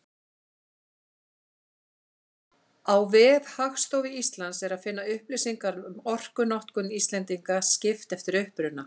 Á vef Hagstofu Íslands er að finna upplýsingar um orkunotkun Íslendinga, skipt eftir uppruna.